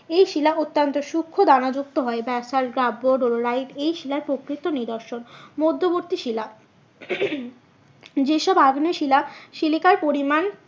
এই শিলা অত্যন্ত সুক্ষ দানা যুক্ত হয় ব্যাসল্ট এই শিলার প্রকৃত নিদর্শন। মধ্যবর্তী শিলা যে সব আগ্নেয় শিলা সিলিকার পরিমান